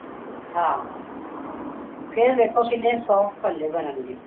ਹਾਂ ਫ਼ੇਰ ਦੇਖੋ ਕਿੰਨੇ soft ਭੱਲੇ ਬਣਨ ਗੇ